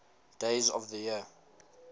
days of the year